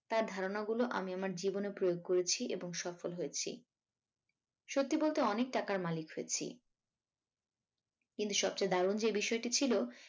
তার ধারনা গুলো আমি আমার জীবনে প্রয়োগ করেছি এবং সফল হয়েছি সত্যি বলতে অনেক টাকার মালিক হয়েছি কিন্তু সবচেয়ে দারুন যে বিষয়টি ছিল